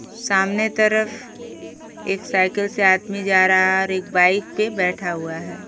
सामने तरफ एक साइकिल से आदमी जा रहा है और एक बाइक पे बैठा हुआ है।